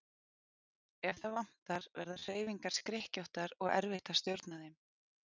Ef það vantar verða hreyfingar skrykkjóttar og erfitt að stjórna þeim.